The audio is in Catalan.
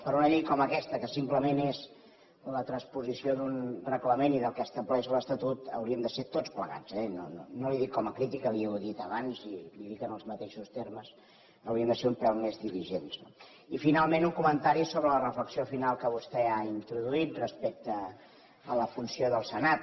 però una llei com aquesta que simplement és la transposició d’un reglament i del que estableix l’estatut hauríem de ser tots plegats eh no li ho dic com a crítica li ho he dit abans i li ho dic en els mateixos termes un pèl més diligents no i finalment un comentari sobre la reflexió final que vostè ha introduït respecte a la funció del senat